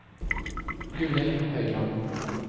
Gunhild Høiland